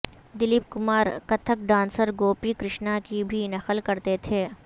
Dilip Kumar Kathak dancer Gopi Krishna کی بھی نقل کرتے تھے